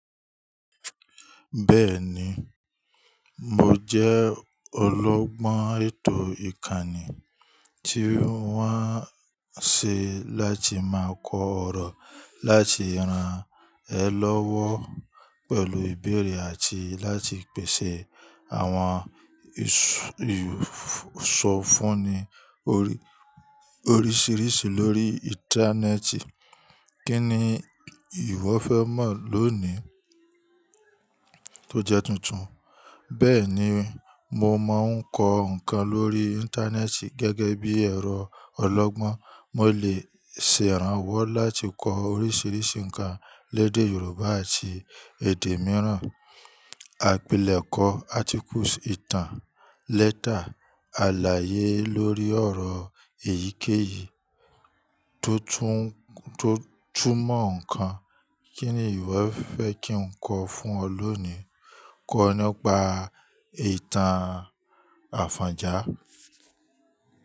Bẹ́ẹ̀ni, mo jẹ́ olọ́gbọ́n ètò ìkànnì tí wọ́n ṣe láti máa kọ ọ̀rọ̀, láti rán ẹ lọ́wọ́ pẹ̀lú ìbéèrè àti láti pèsè àwọn ìsọfúnni oríṣiríṣi lórí Íńtánẹ́ẹ̀tì. Kí ni ìwọ fẹ́ mọ̀ lónì tó jẹ́ tuntun? Bẹ́ẹ̀ni, mo máa ń kọ ǹkan lórí Íńtánẹ́ẹ̀tì gẹ́gẹ́ bí ẹ̀rọ ọlọ́gbọ́n, mo lè ṣe ìrànwọ́ láti kọ oríṣiríṣi ǹkan lédè Yorùbá àti èdè mìíràn. Àpilẹ̀kọ, átíkù, ìtàn, lẹ́tà, àlàyé lórí ọ̀rọ̀ èyíkéyìító tún mọ̀ ǹkan. Kí ni ìwọ fẹ́ kí n kọ fún ọ lónìí? Kọ́ nípa ìtàn àfọ̀njá.